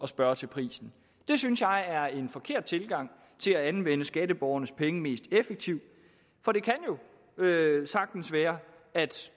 spørge til prisen det synes jeg er en forkert tilgang til at anvende skatteborgernes penge mest effektivt for det kan jo sagtens være at